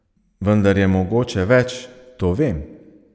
Vendar je mogoče več, to vem!